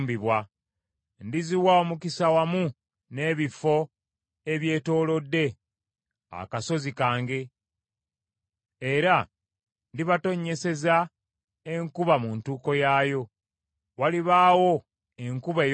Ndiziwa omukisa wamu n’ebifo ebyetoolodde akasozi kange, era ndibatonnyeseza enkuba mu ntuuko yaayo; walibaawo enkuba ey’omukisa.